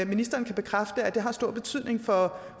ministeren bekræfte at det har stor betydning for